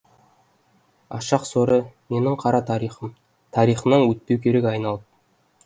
ашақ соры менің қара тарихым тарихыңнан өтпеу керек айналып